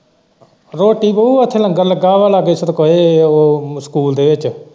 ਰੋਟੀ ਨੀ ਉੱਥੇ ਲੰਗਰ ਲੱਗਾ ਵਾ ਲਾਗੇ ਸਕੂਲ ਦੇ ਵਿੱਚ।